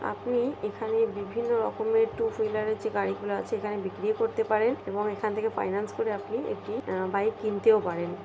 আপনি এখানে বিভিন্ন রকমের টু হুইলার -এর যে গাড়িগুলো আছে এখানে বিক্রি ও করতে পারেন এবং এখান থেকে ফাইন্যান্স করে আপনি একটি আহ বাইক কিনতেও পারেন।